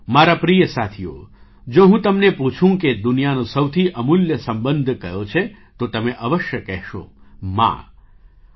મારા પ્રિય સાથીઓ જો હું તમને પૂછું કે દુનિયાનો સૌથી અમૂલ્ય સંબંધ કયો છે તો તમે અવશ્ય કહેશો - 'મા'